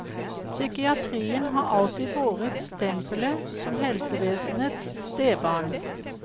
Psykiatrien har alltid båret stempelet som helsevesenets stebarn.